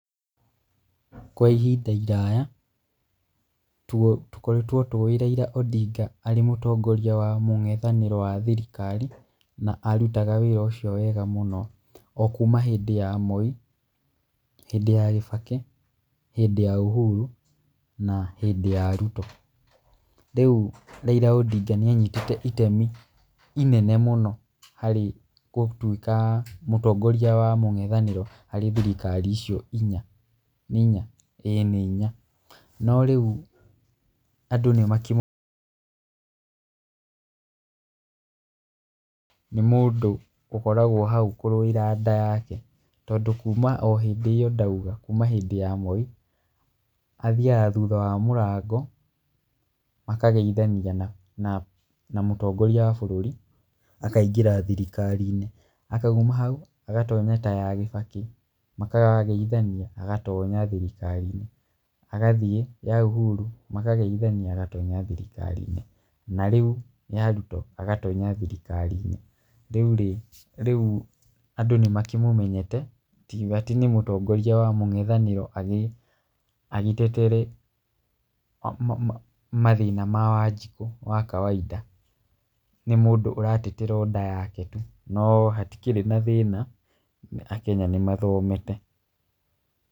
Kwa ihinda iraya, tũo, tũkoretwo tũĩ Raila Ondinga arĩ mũtongoria wa mwena wa mũng'ethanĩro wa thirikari na arũtaga wĩra ũcio wega mũno. Okũma hĩndĩ ya Moi, hĩndĩ ya Kibaki, hĩndĩ ya Uhuru na hĩndĩ ya Ruto. Rĩũ raila Ondinga nĩanyitĩte itemi inene mũno harĩ gũtũĩka mũtongaria wa mũng'ethanĩro harĩ thirikari icio inya. Nĩ inya? ĩĩ nĩ inya. No rĩũ andũ nĩmakĩmũ [pause, nĩ mũndũ ũkoragwo haũ kũrũĩra nda yake tondũ kũma o hĩndĩ ĩyo ndaũga, kũma hĩndĩ ya Moi, athiaga thũtha wa mũrango, makageithania na, mũ mũtongoria wa bũrũri, akaingĩra thirikari-inĩ. akaũma haũ, agatonya ta ya Kibaki, makageithania, agatonya thirikari-inĩ, agathiĩ ya Uhuru makageithania agatonya thirikari-inĩ. Na rĩũ nĩ ya Ruto, agatonya thirikari-inĩ. Rĩũrĩ, rĩũ andũ nĩmakĩmũmenyete, matingiũga atĩ nĩ mũtongoria wa mũng'ethanĩro agĩ, agĩtetere ma ma mathĩna ma wanjikũ wa kawaida. Nĩ mũndũ ũratetera o nda yake tũ, no hatikĩrĩ na thĩna, Akenya nĩmathomete.